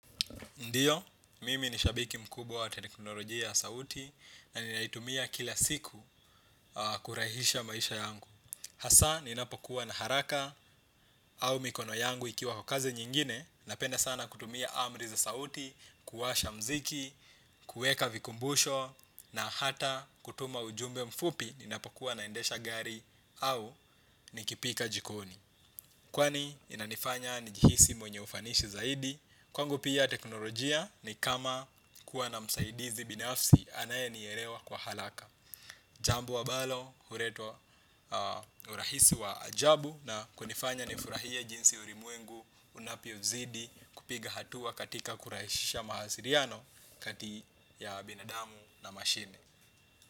Ndiyo, mimi nishabiki mkubwa wa teknolojia ya sauti na ninaitumia kila siku kurahisisha maisha yangu. Hasa, ninapokuwa na haraka au mikono yangu ikiwa kwa kazi nyingine, napenda sana kutumia api za sauti, kuwasha muziki, kuweka vikumbusho, na hata kutuma ujumbe mfupi ninapokuwa ninaendesha gari au nikipika jikoni. Kwani, inanifanya najihisi mwenye ufanisi zaidi. Kwangu pia teknolojia ni kama kuwa na msaidizi binafsi anaye nielewa kwa haraka. Jambo ambalo, huletwa urahisi wa ajabu na hunifanya nifurahie jinsi ulimwengu unavyozidi kupiga hatua katika kurahisisha mawasiliano kati ya binadamu na mashini.